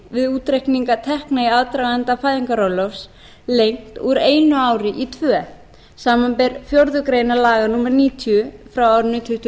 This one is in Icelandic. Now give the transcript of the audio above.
við útreikninga tekna í aðdraganda fæðingarorlofs lengt úr einu ári í tvö samanber fjórðu grein laga númer níutíu tvö þúsund og